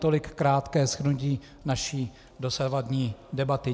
Tolik krátké shrnutí naší dosavadní debaty.